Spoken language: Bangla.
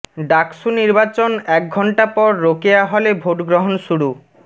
ডাকসু নির্বাচন এক ঘণ্ট পর রোকেয়া হলে ভোটগ্রহণ শুরু